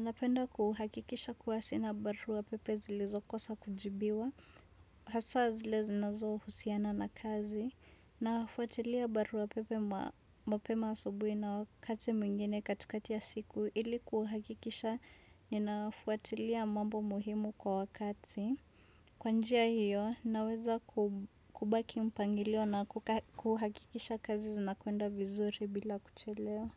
Napenda kuhakikisha kuwasi na barua pepe zilizokosa kujibiwa. Hasaa zile zinazohusiana na kazi. Na hafuatilia barua pepe mapema asubuhi na wakati mwingine katikati ya siku. Ili kuhakikisha ninaffuatilia mambo muhimu kwa wakati. Kwa njia hiyo, naweza kubaki mpangilio na kuhakikisha kazi zinakuenda vizuri bila kuchelewa.